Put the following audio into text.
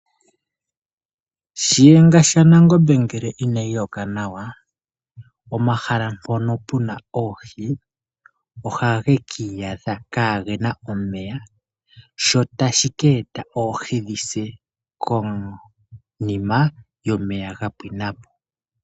Shinga shanangombe ngele inayi loka nawa omahala mpono puna oohi ohage kiyadha kagena omeya shotashi keta oohi dhise konima omeya ga pwinapo.